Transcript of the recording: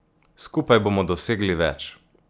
Skupaj bomo dosegli več.